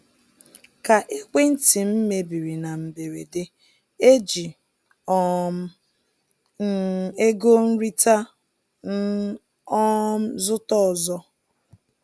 Ka ekwentị m mebiri na mberede, eji um m ego nrita m um zụta ọzọ.